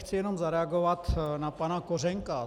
Chci jen zareagovat na pana Kořenka.